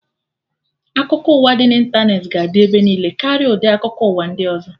Akụkọ ụwa dị na ịntanetị ga adị ebe niile karịa ụdị akụkọ ụwa ndị ọzọ